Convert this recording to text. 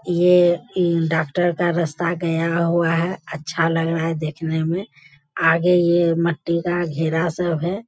ये अ डॉक्‍टर का रास्‍ता गया हुआ है अच्‍छा लग रहा है देखने में आगे ये मट्टी का घेरा सब है।